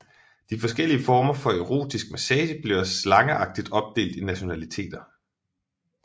De forskellige former for Erotisk massage bliver slangagtig opdelt i nationaliteter